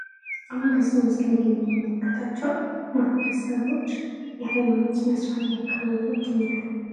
አሁን በዚህ ምስል ላይ የምንመለከታቸው ማህበረሰቦች የሃይማኖት ስርአት እያከናወኑ ይገኛሉ።